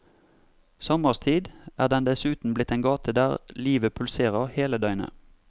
Sommerstid er den dessuten blitt en gate der livet pulserer hele døgnet.